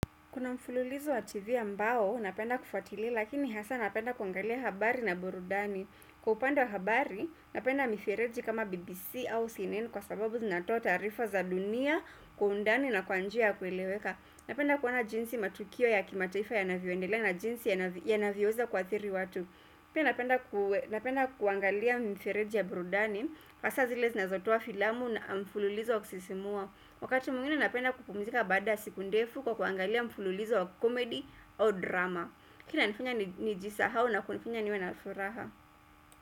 Kuna mfululizo wa TV ambao, napenda kufuatilia lakini hasa napenda kuangalia habari na burudani. Kwa upande habari, napenda mifireji kama BBC au CNN kwa sababu zinatoa tarifa za dunia, kwa undani na kwa njia ya kweleweka. Napenda kuwona jinsi matukio ya kimataifa yanavioendele na jinsi ya navioweza kwathiri watu. Pia napenda kuangalia mifereji ya burudani, hasa zile zinazotoa filamu na mfululizo wa kusisimua. Wakati muingine napenda kupumzika bada siku ndefu kwa kuangalia mfululizo wa komedi o drama kina nifanya nijisahao na kunifanya niwe na furaha.